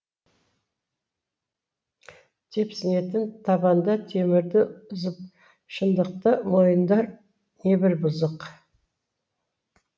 тепсінетін табанда темірді үзіп шындықты мойындар небір бұзық